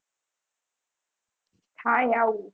થાય આવું